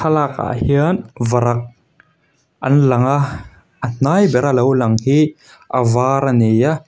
thlalakah hian varak an lang a a hnai ber a lo lang hi a var ani a.